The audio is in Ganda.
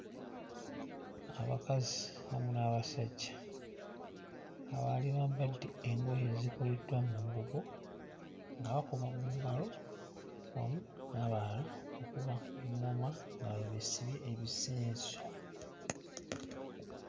Abakazi wamu n'abasajja abaali bambadde engoye ezikoleddwa mu mbugo nga bakuba mu ngalo wamu n'abalala okuba ŋŋoma nga webeesibye ebisenso